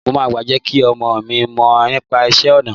Mo máa jẹ́ kí ọmọọ̀ mi mọ nípa iṣẹ́ ọnà